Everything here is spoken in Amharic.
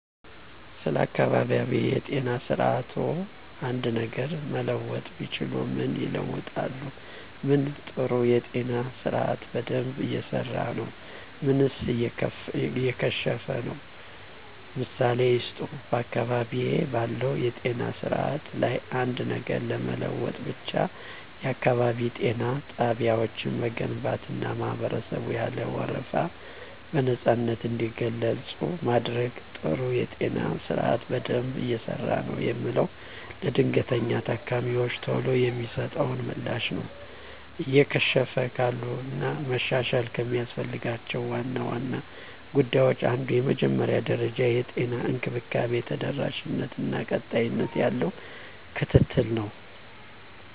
ስለ አካባቢያዊ የጤና ስርዓትዎ አንድ ነገር መለወጥ ቢችሉ ምን ይለውጣሉ? ምን ጥሩ የጤና ስርአት በደንብ እየሰራ ነው ምንስ እየከሸፈ ነው? ምሳሌ ይስጡ። *በአካባቢዬ ባለው የጤና ስርዓት ላይ አንድ ነገር ለመለወጥ ብችል፣ *የአካባቢ ጤና ጣቢያዎችን መገንባትና ማህበረሰቡን ያለ ወረፋ በነፃነት እንዲገለገሉ ማድረግ። *ጥሩ የጤና ስርዓት በደንብ እየሰራ ነው የምለው፦ ለድንገተኛ ታካሚወች ቶሎ የሚሰጠው ምላሽ ነው። *እየከሸፉ ካሉት እና መሻሻል ከሚያስፈልጋቸው ዋና ዋና ጉዳዮች አንዱ የመጀመሪያ ደረጃ የጤና እንክብካቤ ተደራሽነት እና ቀጣይነት ያለው ክትትል ነው።